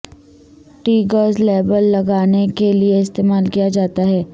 tags label لگانے کے لئے استعمال کیا جاتا ہے